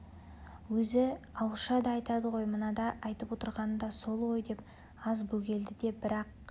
өзі ауызша да айтады ғой мынада айтып отырғаны да сол ғой деп аз бөгелді де бірақ